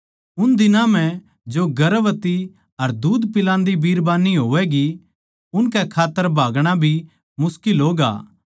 उन दिनां म्ह जो गर्भवती अर दूध पिलान्दी बिरबान्नी होवैगीं उनकै खात्तर भागणा भी मुश्किल होगा